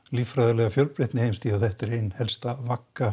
líffræðilega fjölbreytni þetta er ein helsta vagga